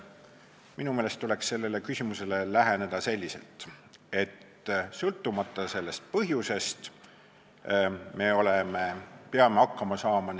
Minu meelest tuleks sellele küsimusele läheneda selliselt, et sõltumata põhjusest me peame nende mõjudega hakkama saama.